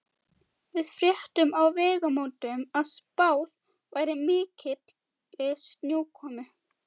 Við fréttum á Vegamótum að spáð væri mikilli snjókomu.